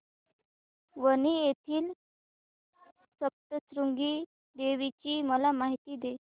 वणी येथील सप्तशृंगी देवी ची मला माहिती दे